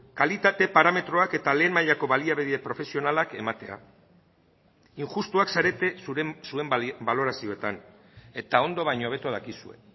kalitate parametroak eta lehen mailako baliabide profesionalak ematea injustuak zarete zuen balorazioetan eta ondo baino hobeto dakizue